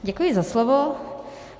Děkuji za slovo.